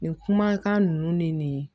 Nin kumakan ninnu ni nin